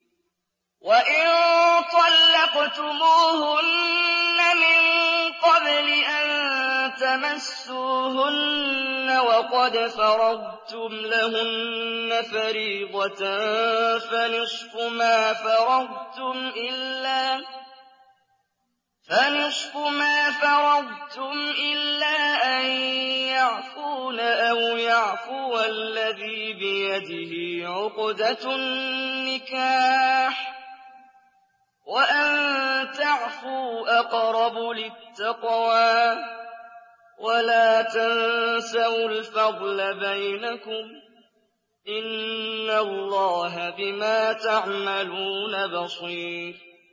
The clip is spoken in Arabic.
وَإِن طَلَّقْتُمُوهُنَّ مِن قَبْلِ أَن تَمَسُّوهُنَّ وَقَدْ فَرَضْتُمْ لَهُنَّ فَرِيضَةً فَنِصْفُ مَا فَرَضْتُمْ إِلَّا أَن يَعْفُونَ أَوْ يَعْفُوَ الَّذِي بِيَدِهِ عُقْدَةُ النِّكَاحِ ۚ وَأَن تَعْفُوا أَقْرَبُ لِلتَّقْوَىٰ ۚ وَلَا تَنسَوُا الْفَضْلَ بَيْنَكُمْ ۚ إِنَّ اللَّهَ بِمَا تَعْمَلُونَ بَصِيرٌ